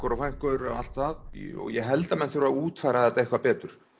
og frænkur og allt það ég held að menn þurfi að útfæra þetta eitthvað betur